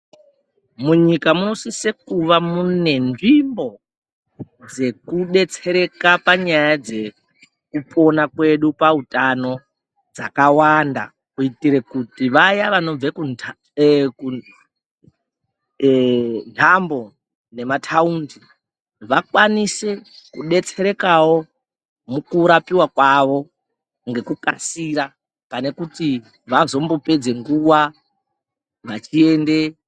Munyika munosise kuva munenzvimbo dzekudetsereka panyaya dzekupona kwedu pautano dzakawanda. Kuitire kuti vaya vanobve kunhambo nemataundi vakwanise kudeserekawo mukurapiwa kwavo ngekukasira. Pane kuti vazombopedze nguva vachiende...